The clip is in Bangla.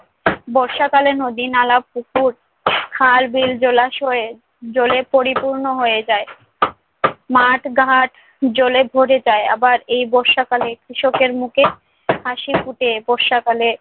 বর্ষাকালে নদী-নালা, পুকুর, খাল-বিল, জলাশয়ের জলে পরিপূর্ণ হয়ে যায়। মাঠ-ঘাট জলে ভরে যায়। আবার এই বর্ষাকালে কৃষকের মুখে হাসি ফুটে বর্ষাকালে।